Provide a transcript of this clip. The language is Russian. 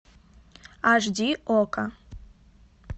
аш ди окко